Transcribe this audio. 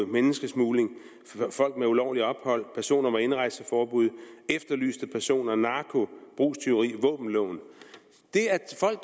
menneskesmugling folk med ulovligt ophold personer med indrejseforbud efterlyste personer narko brugstyveri våbenloven det